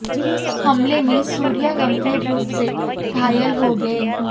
हमले में सूर्या गंभीर रूप से घायल हो गए